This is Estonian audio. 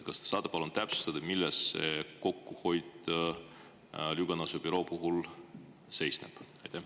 Kas te saate palun täpsustada, milles see kokkuhoid Lüganuse büroo puhul seisneb?